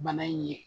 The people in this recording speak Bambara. Bana in ye